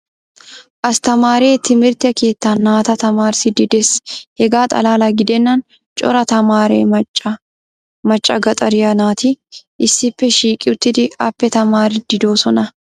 astamaare timirte keettan naata tamaarisidi des. hegaa Xalaala gidennan cora tamaare macca gaxariya naati issippe shiiqi uttidi appe tamaariidi doosona.